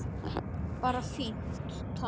Bara fínt, takk!